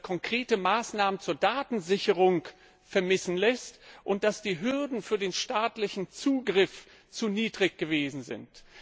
konkrete Maßnahmen zur Datensicherheit vermissen lässt und dass die Hürden für den staatlichen Zugriff zu niedrig gewesen sind.